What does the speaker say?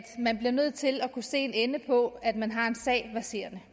man bliver nødt til at kunne se en ende på at man har en sag verserende